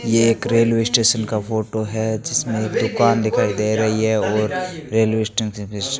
ये एक railway station का फोटो है जिसमें एक दुकान दिखाई दे रही है और रेलवे स्टेशन फीस --